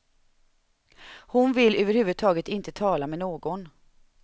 Hon vill över huvud taget inte tala med någon.